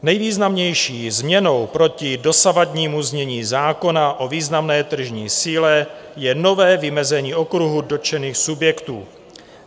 Nejvýznamnější změnou proti dosavadnímu znění zákona o významné tržní síle je nové vymezení okruhu dotčených subjektů.